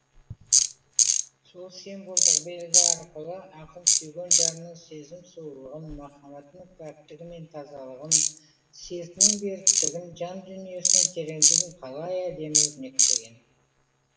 сол символдық белгі арқылы ақын сүйген жарының сезім сұлулығын махаббатының пәктігі мен тазалығын сертінің беріктігін жан дүниесінің тереңдігін қалай әдемі өрнектеген